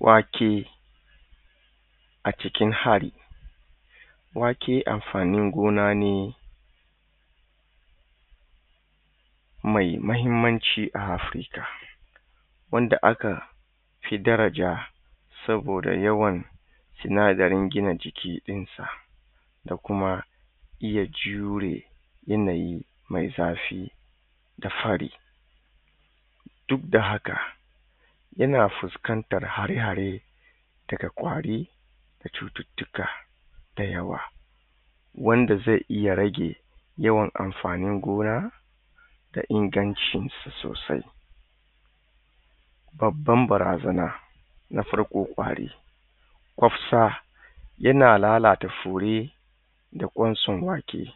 Wake, a cikin hari. Wake amfanin gona ne mai muhimmanci a Afrika wanda aka fi daraja saboda yawan sinadarin gina jiki ɗin sa da kuma iya jure yanayi mai zafi da fari duk da haka yana fuskantar hare hare daga ƙwari da cututtuka da yawa wanda zai iya rage yawan amfanin gona da ingancinshi sosai. Babban barazana na farko ƙwari. kwafsa Yana lalata fure da ƙwanson wake.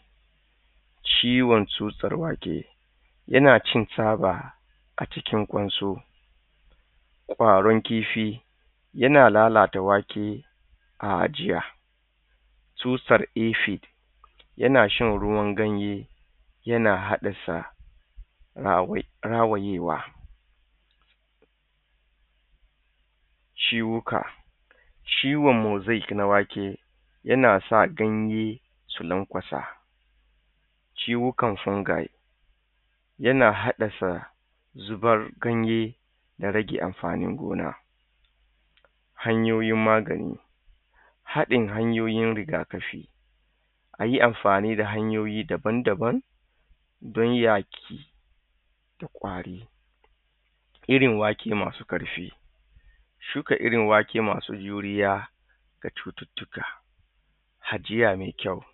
Ciwon tsutsar wake, yana cin tsaba a cikin kwanso Ƙwaron kifi, yana lalata wake a ajiya. Tsutsar ifi, yana shan ruwan ganye yana hadasa rawayewa. ciwuka ciwon mosik na wake yana sa ganye su lankwasa Ciwukan fungi, yana haddasa zubar ganye da rage amfani gona. Hanyoyin magani, haɗin hanyoyin rigakafi, a yi amfani da hanyoyi daban-daban dan yaƙi da kwari. Irin wake masu ƙarfi, shuka iri wake masu juriya ga cututtuka, ajiya mai kyau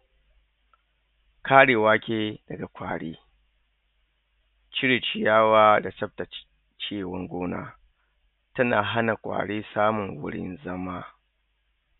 kare wake daga kwari cire ciyawa da tsaftace aikin gona suna hana ƙwari samun gurin zama.